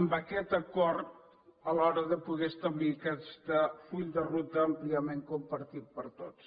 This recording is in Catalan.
en aquest acord a l’hora de poder establir aquest full de ruta àmpliament compartit per tots